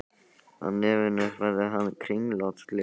Á nefinu hafði hann kringlótt gleraugu.